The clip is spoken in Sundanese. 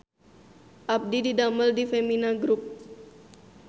Abdi didamel di Femina Grup